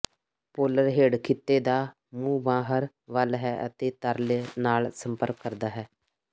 polar head ਖਿੱਤੇ ਦਾ ਮੂੰਹ ਬਾਹਰ ਵੱਲ ਹੈ ਅਤੇ ਤਰਲ ਨਾਲ ਸੰਪਰਕ ਕਰਦਾ ਹੈ